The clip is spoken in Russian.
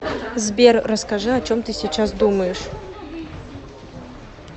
сбер расскажи о чем ты сейчас думаешь